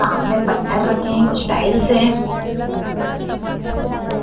सामने पत्थर रखे हैं कुछ टाइल्स हैं।